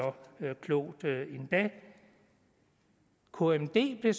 klogt endda kmd blev